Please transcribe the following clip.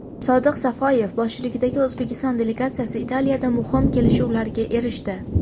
Sodiq Safoyev boshchiligidagi O‘zbekiston delegatsiyasi Italiyada muhim kelishuvlarga erishdi.